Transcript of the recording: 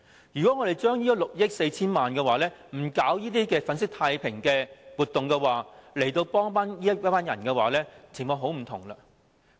如果這6億 4,000 萬元不是用來搞這些粉飾太平的活動，而是用來幫助這群人，情況便很不同。